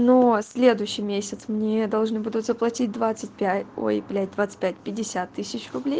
но следующий месяц мне должны будут заплатить двадцать пять ой блять двадцать пять пятьдесят тысяч рублей